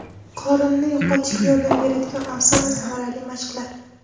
Qorinni yo‘qotishga yordam beradigan oson va samarali mashqlar.